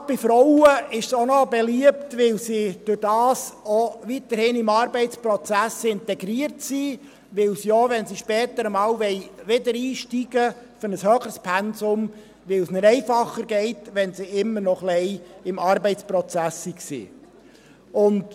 Gerade bei Frauen sind sie auch beliebt, weil sie dadurch weiterhin in den Arbeitsprozess integriert sind und weil es für sie, wenn sie später einmal zu einem höheren Pensum wieder einsteigen möchten, einfacher ist, wenn sie immer ein bisschen im Arbeitsprozess drin waren.